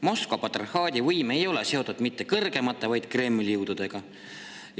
Moskva patriarhaadi võim ei ole seotud mitte kõrgeimate, vaid Kremli jõududega.